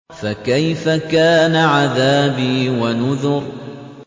فَكَيْفَ كَانَ عَذَابِي وَنُذُرِ